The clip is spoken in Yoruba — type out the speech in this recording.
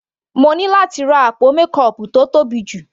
Mo ní láti ra àpò mékọọpù tó tóbi jù.